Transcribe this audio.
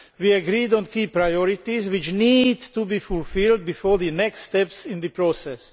We agreed on key priorities which need to be fulfilled before the next steps in the process.